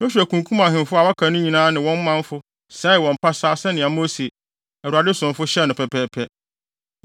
Yosua kunkum ahemfo a wɔaka no nyinaa ne wɔn manfo sɛee wɔn pasaa sɛnea Mose, Awurade somfo, hyɛe no pɛpɛɛpɛ.